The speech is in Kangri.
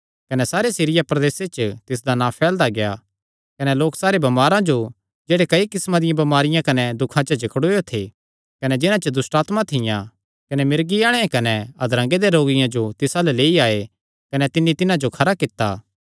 कने सारे सीरिया प्रदेसे च तिसदा नां फैलदा गेआ कने लोक सारे बमारां जो जेह्ड़े कई किस्मां दियां बमारियां कने दुखां च जकड़ुयो थे कने जिन्हां च दुष्टआत्मां थियां कने मिर्गी आल़ेआं कने अधरंगे दे रोगियां जो तिस अल्ल लेई आये कने तिन्नी तिन्हां जो खरा कित्ता